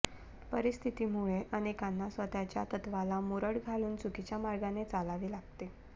परिस्थितीमुळे अनेकांना स्वतःच्या तत्वाला मुरड घालून चुकीच्या मार्गाने चालावे लागते